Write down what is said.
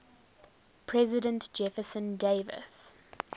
president jefferson davis